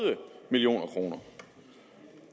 million kroner